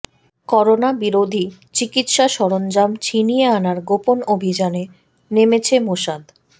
corona বিরোধী চিকিৎসা সরঞ্জাম ছিনিয়ে আনার গোপন অভিযানে নেমেছে মোসাদ